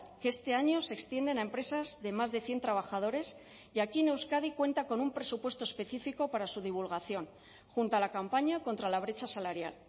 que este año se extienden a empresas de más de cien trabajadores y aquí en euskadi cuenta con un presupuesto específico para su divulgación junto a la campaña contra la brecha salarial